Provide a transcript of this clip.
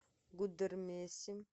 гудермесе